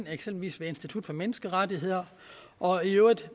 eksempel ved institut for menneskerettigheder og i øvrigt